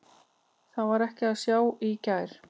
Það var ekki að sjá í gær.